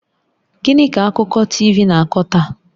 Gịnị ka akụkọ TV na-akọ taa?